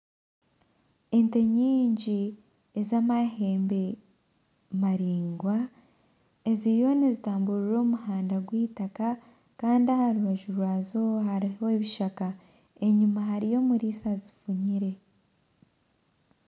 Ente nyingi ezamahembe maraingwa eziriyo nizitamburira omumuhanda gw'itaka Kandi aharubaju rwazo hariho ebishaka enyuma hariyo omuriisa azifunyire